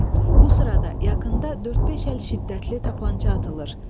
Bu sırada yaxında dörd-beş əl şiddətli tapança atılır.